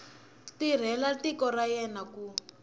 tirhela tiko ra yena ku